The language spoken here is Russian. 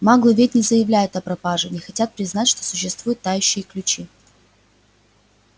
маглы ведь не заявляют о пропаже не хотят признать что существуют тающие ключи